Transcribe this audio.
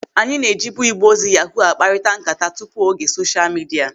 Anyị na-ejibu igbe ozi yahuu akparita nkata tupu oge sosha midia.